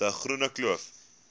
de groene kloof